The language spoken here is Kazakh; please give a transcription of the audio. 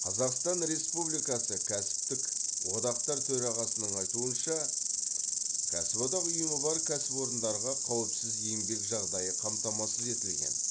қазақстан республикасы кәсіптік одақтар төрағасының айтуынша кәсіподақ ұйымы бар кәсіпорындарда қауіпсіз еңбек жағдайы қамтамасыз етілген